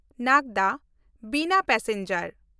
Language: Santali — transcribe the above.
ᱱᱟᱜᱽᱫᱟ-ᱵᱤᱱᱟ ᱯᱮᱥᱮᱧᱡᱟᱨ